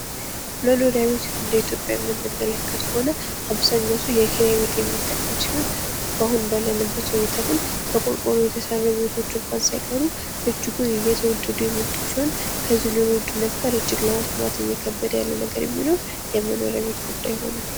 መኖሪያ ቤት እንድኢትዮጵያ የምንመለከት ከሆነ አብዛኛው ሰው የኪራይ ቤት የሚጠቀም ሲሆን አሁን ባለንበት ሁኔታ ግን በቆርቆሮ የተሰሩ ቤቶች እንኳን ሳይቀሩ እጅጉን እየተወደዱ እየከበዱ የመጡ ሲሆን ለመስማት እየከበደ ያለ ነገር ቢኖር የመኖሪያ ቤት ጉዳይ ሁኗል።